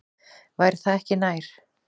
Væri það ekki nær?